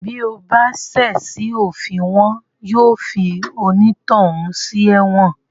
Bí o bá ṣẹ̀ sí òfin wọn yóò fi onítọ̀hún sí ẹ̀wọ̀n